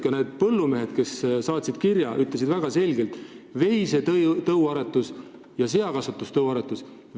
Ka need põllumehed, kes saatsid kirja, tõid väga selgelt välja veisetõuaretuse ja seatõuaretuse.